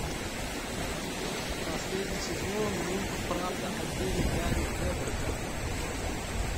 последний сезон мульт правда о деле гарри квеберта